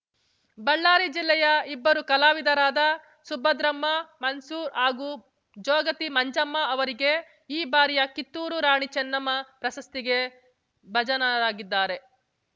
ಬಳ್ಳಾರಿ ಜಿಲ್ಲೆಯ ಇಬ್ಬರು ಕಲಾವಿದರಾದ ಸುಭದ್ರಮ್ಮ ಮನ್ಸೂರ್ ಹಾಗೂ ಜೋಗತಿ ಮಂಜಮ್ಮ ಅವರಿಗೆ ಈ ಬಾರಿಯ ಕಿತ್ತೂರು ರಾಣಿ ಚೆನ್ನಮ್ಮ ಪ್ರಶಸ್ತಿಗೆ ಭಜನರಾಗಿದ್ದಾರೆ